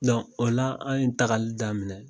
o la an ye tagali daminɛ minɛ